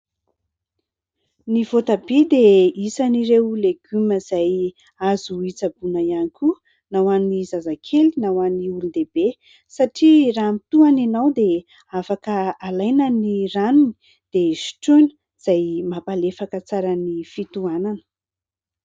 Ny voatabia dia isan'ireo legioma izay azo hitsaboana ihany koa na ho an'ny zazakely na ho an'ny olondehibe satria raha mitohana ianao dia afaka alaina ny ranony dia sotroina izay mampalefaka tsara ny fitohanana.